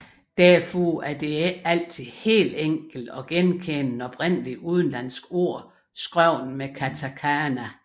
Derfor er det ikke altid helt enkelt at genkende et oprindelig udenlandsk ord skrevet med katakana